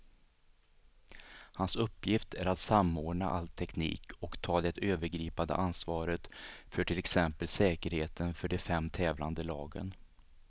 Hans uppgift är att samordna all teknik och ta det övergripande ansvaret för till exempel säkerheten för de fem tävlande lagen.